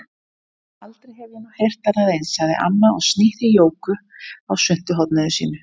Aldrei hef ég nú heyrt annað eins, sagði amma og snýtti Jóku á svuntuhorninu sínu.